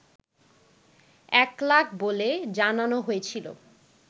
একলাখ বলে জানানো হয়েছিল